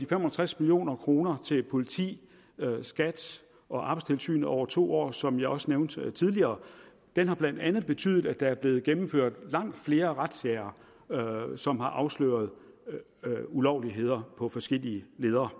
fem og tres million kroner til politiet skat og arbejdstilsynet over to år som jeg også nævnte tidligere har blandt andet betydet at der er blevet gennemført langt flere razziaer som har afsløret ulovligheder på forskellige ledder